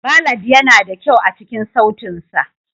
Ballad yana da kyau a cikin sautin sa.